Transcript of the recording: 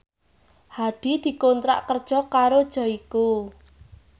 Hadi dikontrak kerja karo Joyko